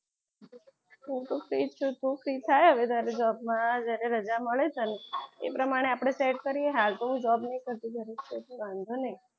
હું તો free છું તું free થાય હવે તારે job માં જ્યારે રજા મળે એ પ્રમાણે આપણે set કરીએ હાલ તો હું job નહી કરતી ઘરે જ છું વાંધો નહીં.